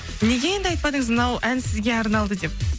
неге енді айтпадыңыз мынау ән сізге арналды деп